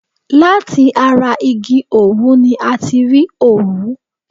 Láti ara igi òwú ni a ti rí òwú.